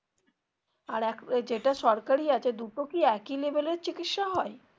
আর এক ওই যেটা সরকারি আছে দুটো কি একই level এর চিকিৎসা হয়?